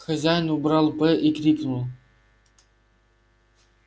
хозяин убрал б и крикнул